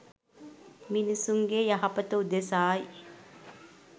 මිනිසුන්ගේ යහපත උදෙසා යි.